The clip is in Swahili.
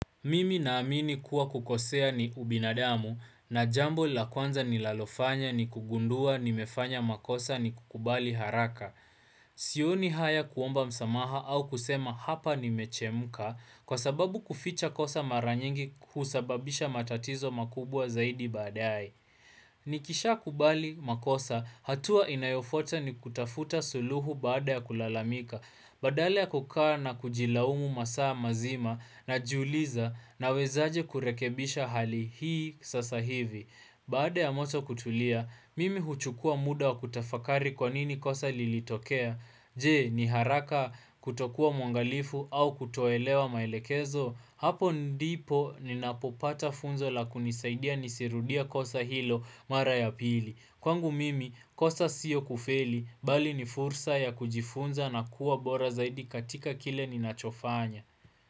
Mimi naamini kuwa kukosea ni ubinadamu na jambo la kwanza ni lalofanya ni kugundua nimefanya makosa nikukubali haraka. Sioni haya kuomba msamaha au kusema hapa nimechemka kwa sababu kuficha kosa mara nyingi husababisha matatizo makubwa zaidi badae. Nikisha kubali makosa hatua inayofuata ni kutafuta suluhu baada ya kulalamika. Badala ya kukaa na kujilaumu masaa mazima najiuliza nawezaje kurekebisha hali hii sasa hivi Baada ya moto kutulia, mimi huchukua muda wa kutafakari kwa nini kosa lilitokea Je, ni haraka? Kutokuwa mwangalifu au kutoelewa maelekezo Hapo ndipo ninapopata funzo la kunisaidia nisirudia kosa hilo mara ya pili Kwangu mimi kosa siyo kufeli bali ni fursa ya kujifunza na kuwa bora zaidi katika kile ni nachofanya.